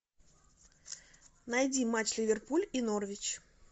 найди матч ливерпуль и норвич